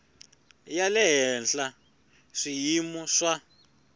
ya le henhla swiyimo swa